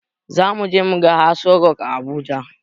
Zamuje muga aso rok a habuja